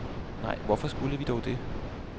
Nej, hvorfor skulle vi dog det?